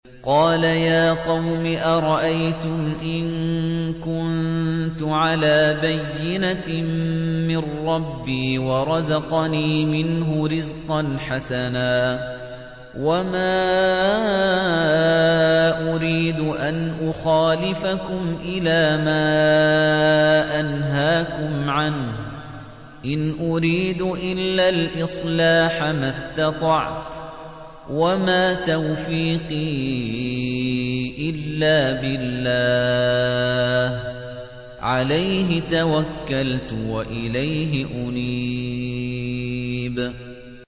قَالَ يَا قَوْمِ أَرَأَيْتُمْ إِن كُنتُ عَلَىٰ بَيِّنَةٍ مِّن رَّبِّي وَرَزَقَنِي مِنْهُ رِزْقًا حَسَنًا ۚ وَمَا أُرِيدُ أَنْ أُخَالِفَكُمْ إِلَىٰ مَا أَنْهَاكُمْ عَنْهُ ۚ إِنْ أُرِيدُ إِلَّا الْإِصْلَاحَ مَا اسْتَطَعْتُ ۚ وَمَا تَوْفِيقِي إِلَّا بِاللَّهِ ۚ عَلَيْهِ تَوَكَّلْتُ وَإِلَيْهِ أُنِيبُ